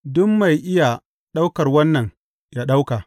Duk mai iya ɗaukar wannan yă ɗauka.